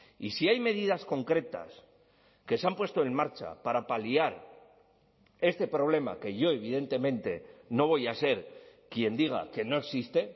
y si hay medidas concretas que se han puesto en marcha para paliar este problema que yo evidentemente no voy a ser quien diga que no existe